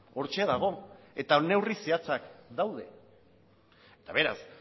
hortxe dago eta neurri zehatzak daude eta beraz